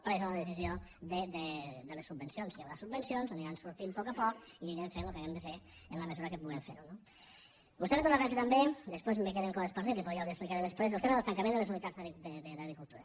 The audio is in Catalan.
presa la decisió de les subvencions que hi haurà subvencions aniran sortint a poc a poc i anirem fent allò que hàgim de fer en la mesura que puguem fer ho no vostè ha fet una referència també després me queden coses per a dir li però ja les hi explicaré després al tema del tancament de les unitats d’agricultura